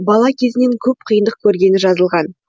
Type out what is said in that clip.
бала кезінен көп қиындық көргені жазылған